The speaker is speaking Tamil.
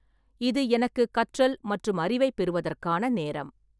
இது எனக்குக் கற்றல் மற்றும் அறிவைப் பெறுவதற்கான நேரம்.